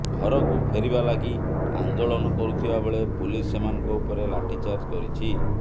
ଘରକୁ ଫେରିବା ଲାଗି ଆନ୍ଦୋଳନ କରୁଥିବାବେଳେ ପୋଲିସ ସେମାନଙ୍କ ଉପରେ ଲାଠି ଚାର୍ଜ କରିଛି